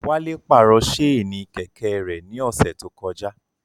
Wálé pàrọ̀ ṣéènì Kẹ̀kẹ́ rẹ̀ ní ọ̀sẹ̀ tó kọjá